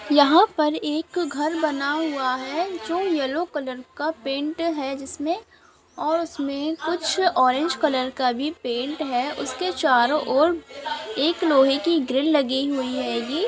यहाँ पर एक घर बना हुआ है जो येलो कलर का पेंट है जिसे और उसमे कुछ ऑरेंज कलर का भी पेंट है उसके चारो और एक लोहे की ग्रिल लगी हुई है